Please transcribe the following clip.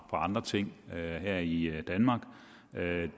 andre ting her i danmark det